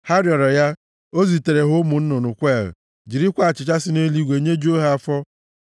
Ha rịọrọ ya, o zitere ha ụmụ nnụnụ kweel, jirikwa achịcha si nʼeluigwe nyejuo ha afọ.